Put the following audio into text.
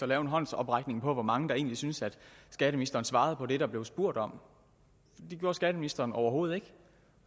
lave en håndsoprækning på hvor mange der egentlig synes at skatteministeren svarede på det der blev spurgt om det gjorde skatteministeren overhovedet ikke